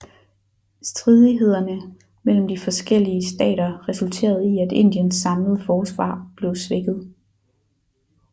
Stridighederne mellem de forskellige stater resulterede i at Indiens samlede forsvar blev svækket